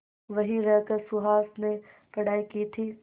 वहीं रहकर सुहास ने पढ़ाई की थी